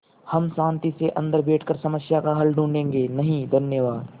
हम शान्ति से अन्दर बैठकर समस्या का हल ढूँढ़े गे नहीं धन्यवाद